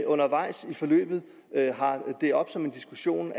undervejs i forløbet har det oppe som en diskussion